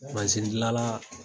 Mansin dilanla